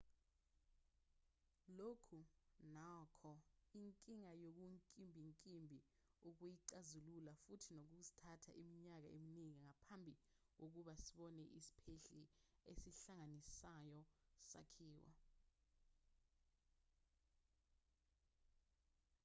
lokhu nokho inkinga okunkimbinkimbi ukuyixazulula futhi kuzothatha iminyaka eminingi ngaphambi kokuba sebone isiphehli esihlanganisayo sakhiwa